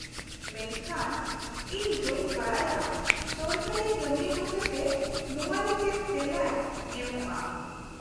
-ᱢᱮᱱᱠᱷᱟᱱ, ᱤᱧ ᱵᱟᱹᱧ ᱵᱟᱰᱟᱭᱼᱟ ᱥᱚᱨᱠᱟᱨᱤ ᱠᱟᱹᱢᱭᱟᱹ ᱦᱚᱛᱮᱛᱮ ᱱᱚᱣᱟ ᱨᱮ ᱪᱮᱫ ᱛᱮᱞᱟᱭ ᱮᱢᱚᱜᱼᱟ ᱾